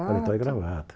Paletó e gravata.